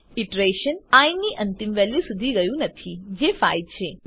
iteration I ની અંતિમ value સુધી ગયું નથી જે 5 છે